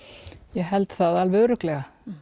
ég held það alveg örugglega